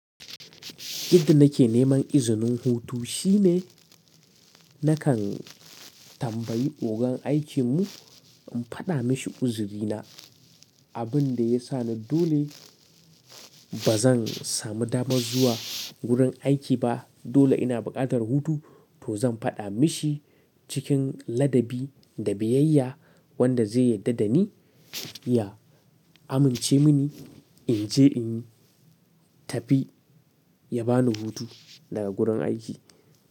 Inda nake neman izinin hutu shine nakan tambayi ogan aikinmu in faɗa mashi ƙuzurina. Inda nake neman izinin hutu shine nakan tambayi ogan aikinmu in faɗa mashi ƙuzurina. Dole ina buƙatar hutu to zan faɗa mashi cikin ladabi da biyayya wanda zai yarda da ni ya amince mini in je in tafi ya ba ni hutu daga gurin aiki.